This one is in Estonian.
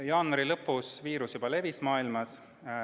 Jaanuari lõpus levis viirus juba mujal maailmas.